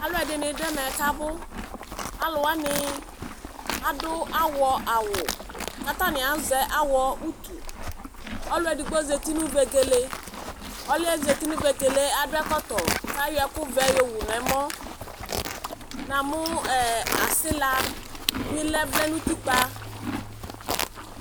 alʋɛdini dʋ ɛmɛ kʋ abʋ, alʋ wani adʋ awʋ, awɔ awʋ kʋ atani azɛ awɔ ayi ʋtʋ, ɔlʋ ɛdigbɔ zati nʋ vɛgɛlɛ, ɔlʋɛ zati nʋ vɛgɛlɛ adʋ ɛkɔtɔ kʋ ayɔ ɛkʋ vɛ yɔwʋ nʋ ɛmɔ, namʋ asila bi lɛ vlɛnʋ ʋtikpa.